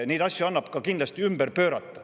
Neid asju annab kindlasti ümber pöörata.